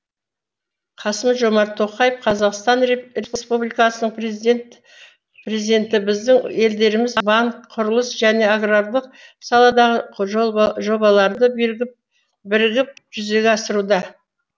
қасым жомарт тоқаев қазақстан республикасының президенті біздің елдеріміз банк құрылыс және аграрлық саладағы жобаларды бірігіп жүзеге асыруда